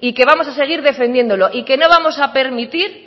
y que vamos a seguir defendiéndolo y que no vamos a permitir